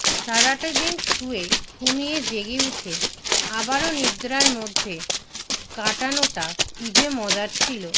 সারাটাদিন শুয়ে ঘুমিয়ে জেগে উঠে আবারো নিদ্রার মধ্যে কাটানোটা কী যে মজার ছিলো